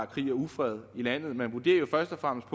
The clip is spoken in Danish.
krig og ufred i landet man vurderer først og fremmest